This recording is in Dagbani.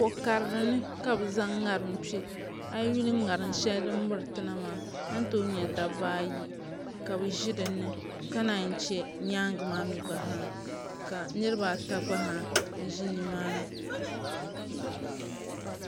Ko karili ni ka bi zaŋ ŋatim kpɛ a yi yuli ŋarim shɛli din miritina maa a ni tooi nyɛ dabba ayi ka bi ʒi dinni ka naan chɛ nyaangi maa gba zaa ka niraba ata gba zaa ʒi nimaani